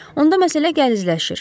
Onda məsələ gəlizləşir.